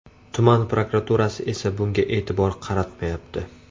Tuman prokuraturasi esa bunga e’tibor qaratmayapti.